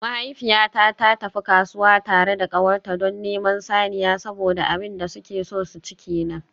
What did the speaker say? Mahaifiyata ta tafi kasuwa tare da kawarta don neman saniya saboda abin da suke so su ci kenan.